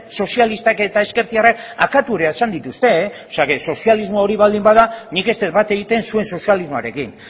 sozialistak eta ezkertiarrak akabatu izan dituzte o sea que sozialismoa hori baldin bada nik ez dut bat egiten zuen sozialismoarekin